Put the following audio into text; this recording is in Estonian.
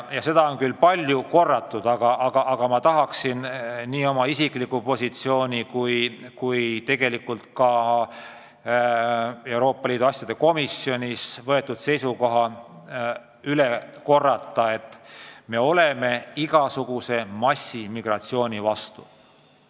Ja seda on küll palju korratud, aga ma tahan veel kord öelda oma isikliku positsiooni ja tegelikult kogu Euroopa Liidu asjade komisjoni seisukoha: me oleme igasuguse massiimmigratsiooni vastu.